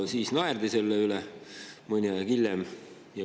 Siis naerdi selle üle.